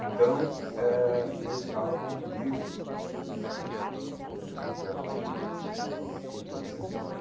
Então, eh eu estava com um livro do Trotsky e a polícia me parou.